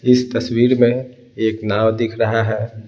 इस तस्वीर में एक नाव दिख रहा है।